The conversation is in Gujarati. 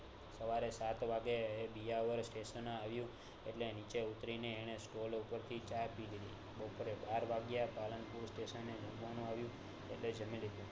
સવારે સાત વાગે સ્ટેટીન આવ્યું એટલે નીચે ઉતરીને એને સ્ટોલ ઉપર થી ચા પીધી બપોરે બાર વાગ્યે પાલન પુર સ્ટેશન એ જમવાનું આવ્યું એટલે જમી લીધું